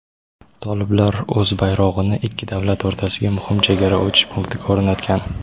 toliblar o‘z bayrog‘ini ikki davlat o‘rtasidagi muhim chegara o‘tish punktiga o‘rnatgan.